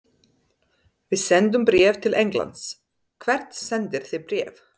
Við sendum bréf til Englands. Hvert sendið þið bréf?